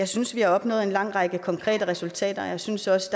synes vi har opnået en lang række konkrete resultater og jeg synes også